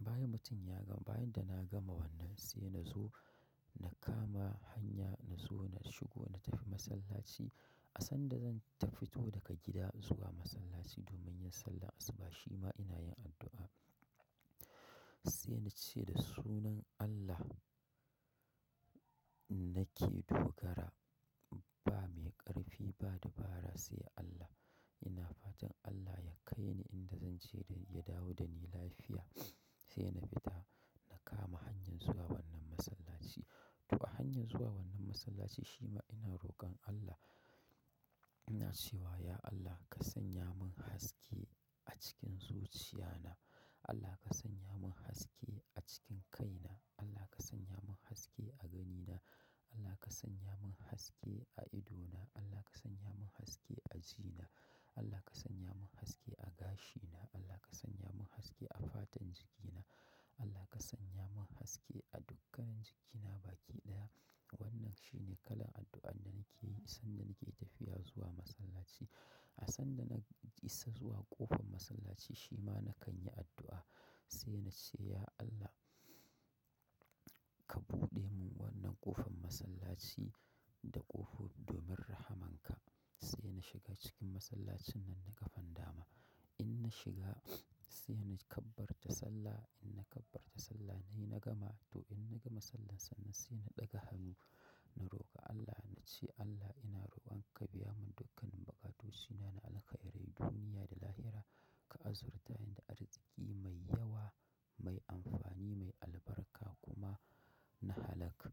Bayan mutum ya gama, bayan da na gama wannan sai na zo yaka ma hanya yatafi masallaci sanda zan fito daga gida domin yin sallar asuba shima inayin addu'a sai ince da sunan Allah nike farawa bamai ƙarfi ba dubara sai Allah ina fatan Allah ya kai ni inda zan je da ya dawo da ni lafiya. Sai na fita na kama hanyar zuwa wannan masallaci. To a hanyar zuwa wannan masallaci shi ma ina roƙon Allah, ina cewa; "Ya Allah ka sanya mun haske a cikin zuciyana. Allah ka sanya mun haske a cikin kaina. Allah ka sanya mun haske a ganina. Allah ka sanya mun haske a idona. Allah ka sanya mun haske a jina. Allah ka sanya mun haske a gashina. Allah ka sanya mun haske a fatan jikina. Allah ka sanya mun haske a dukkanan jikina baƙi ɗaya." wannan shine kalan addu'ar nakiye kan tafiya zuwa masallaci. A sanda na isa zuwa ƙofan masallaci shi ma nakan yi addu'a. Sai na ce; "Ya Allah ka buɗe mun wannan ƙofan masallaci da ƙofofin rahamanka." Sai na shiga cikin masallacin nan da ƙafan dama. In na shiga sai na kabbara sallah. In na kabbara sallah nayi na gama. To in na gama sallan sannan sai na ɗaga hannu na roƙa Allah na ce; "Allah ina roƙon ka biya mun dukkanin bukatocina na alka'irai duniya da lahira, ka azurta ni da arzikin mai yawa, mai amfani, mai albarka kuma na halak".